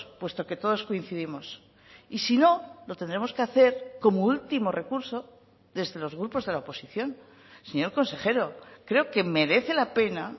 puesto que todos coincidimos y si no lo tendremos que hacer como último recurso desde los grupos de la oposición señor consejero creo que merece la pena